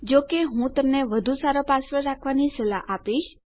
જો કે હું તમને વધુ સારો પાસવર્ડ રાખવાની સલાહ આપીશ